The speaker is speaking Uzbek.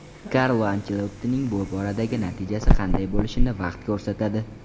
Karlo Anchelottining bu boradagi natijasi qanday bo‘lishini vaqt ko‘rsatadi.